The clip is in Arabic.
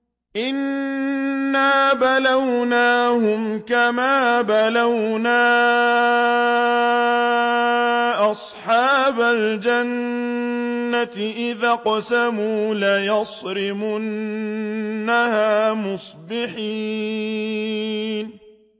إِنَّا بَلَوْنَاهُمْ كَمَا بَلَوْنَا أَصْحَابَ الْجَنَّةِ إِذْ أَقْسَمُوا لَيَصْرِمُنَّهَا مُصْبِحِينَ